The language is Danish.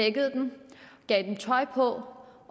gav dem tøj på